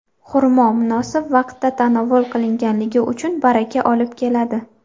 Xurmo munosib vaqtda tanovul qilingani uchun, baraka olib keladi”.